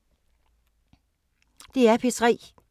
DR P3